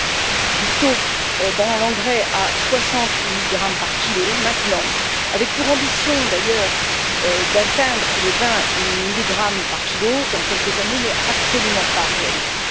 En effet, demander une diminution du taux dans l'engrais à 60 milligrammes par kilo maintenant, avec pour ambition d'ailleurs d'atteindre les 20 milligrammes par kilo dans quelques années, n'est absolument pas réaliste.